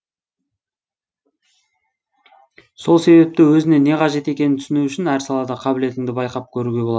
сол себепті өзіне не қажет екенін түсіну үшін әр салада қабілетіңді байқап көруге болады